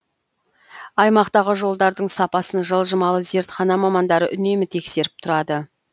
аймақтағы жолдардың сапасын жылжымалы зертхана мамандары үнемі тексеріп тұрады